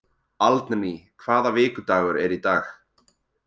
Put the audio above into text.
Aldný, hvaða vikudagur er í dag?